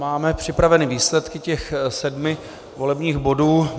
Máme připraveny výsledky těch sedmi volebních bodů.